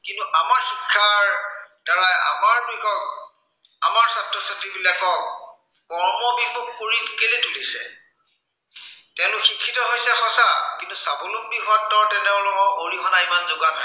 আমাৰ ছাত্ৰ-ছাত্ৰীবিলাকক, কৰ্মবিমুখ কৰি কেলেই তুলিছে তেওঁলোক শিক্ষিত হৈছে সঁচা, কিন্তু স্বাৱলম্বী হোৱাত তেওঁলোকক অৰিহনা ইমান যোগোৱা নাই।